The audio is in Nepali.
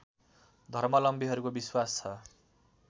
धर्मावलम्बीहरूको विश्वास छ